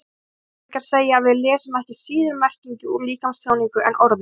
Atferlisfræðingar segja að við lesum ekki síður merkingu úr líkamstjáningu en orðum.